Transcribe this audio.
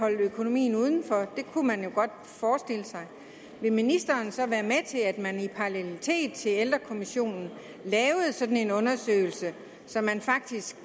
holde økonomien uden for det kunne man jo godt forestille sig vil ministeren så være med til at man i parallelitet til ældrekommissionen lavede en sådan undersøgelse så man faktisk